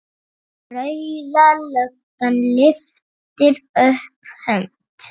Rauða löggan lyftir upp hönd.